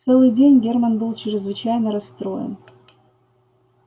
целый день германн был чрезвычайно расстроен